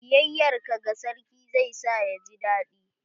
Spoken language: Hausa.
Biyayar ka ga sarki zai sa ya ji daɗi.